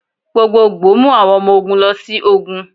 Gbogbogbo mu awọn ọmọ ogun lọ si ogun.